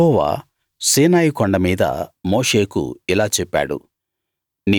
యెహోవా సీనాయికొండ మీద మోషేకు ఇలా చెప్పాడు